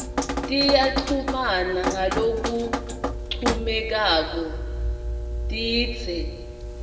tiyachumana ngalokuncomekako tindze